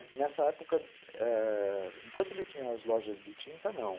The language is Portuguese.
nessa época, ãh, enquanto tinha as lojas de tinta, não.